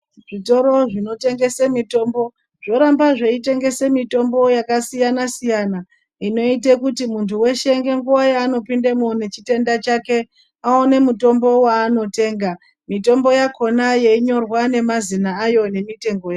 Zvitoro zvinotengese mitombo, zvoramba zveyitengese mitombo yakasiyana siyana, inoyite kuti muntu weshe ngenguwa yanopinde imomo chitenda chake, awone mutombo wanotenga. Mitombo yakhona yeyinyorwa ngemazina ayo nemitengo.